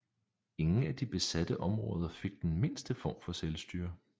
Ingen af de besatte områder fik den mindste form for selvstyre